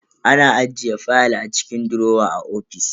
Ana ajiye fayal a cikin durowa a ofis.